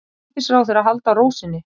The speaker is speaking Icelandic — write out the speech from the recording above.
Forsætisráðherra haldi ró sinni